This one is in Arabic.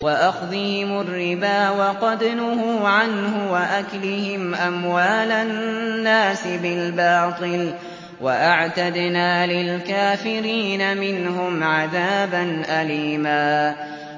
وَأَخْذِهِمُ الرِّبَا وَقَدْ نُهُوا عَنْهُ وَأَكْلِهِمْ أَمْوَالَ النَّاسِ بِالْبَاطِلِ ۚ وَأَعْتَدْنَا لِلْكَافِرِينَ مِنْهُمْ عَذَابًا أَلِيمًا